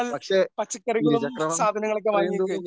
പക്ഷേ ഇരുചക്രവാഹനത്തിൽ അത്രയും ദൂരം